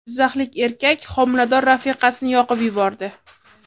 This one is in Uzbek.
Jizzaxlik erkak homilador rafiqasini yoqib yubordi.